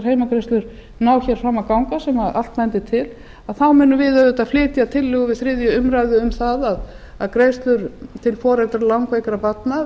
heimgreiðslur ná hér fram að ganga sem allt bendir þá munum við auðvitað flytja tillögu við þriðju umræðu um það að greiðslur til foreldra langveikra barna